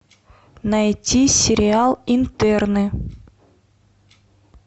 найти сериал интерны